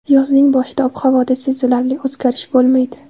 Yozning boshida ob-havoda sezilarli o‘zgarish bo‘lmaydi.